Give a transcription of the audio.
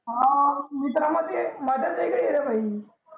हां मित्राला ते मजाच येते इकडे भाई